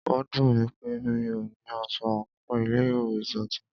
Ó dùnmí pé mí o ní aṣọ àńkò ilé ìwé titun.